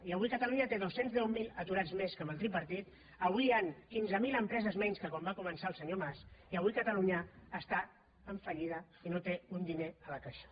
i avui catalunya té doscientos y diez mil aturats més que amb el tripartit avui hi ha quinze mil empreses menys que quan va començar el senyor mas i avui catalunya està en fallida i no té ni un diner a la caixa